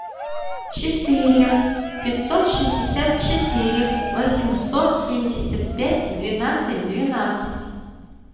четыре пятьсот шестьдесят четыре восемьсот семьдесят пять двенадцать двенадцать